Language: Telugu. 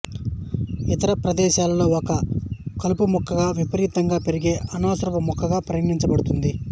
ఇతర ప్రదేశాలలో ఇది ఒక కలుపు మొక్కగా విపరీతంగా పెరిగే అనవసరపు మొక్కగా పరిగణించబడింది